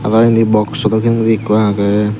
aro endi box so bidiredi ekko aage.